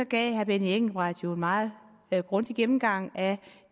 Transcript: gav herre benny engelbrecht jo en meget grundig gennemgang af